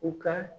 U ka